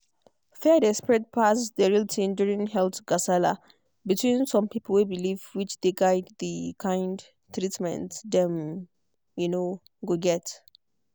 fear dey spread pass the real thing during health gasala between some pipo way believe which dey guide the kind of treatment dem um go get.